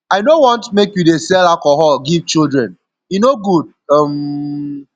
i no want make you dey sell alcohol give children e no good um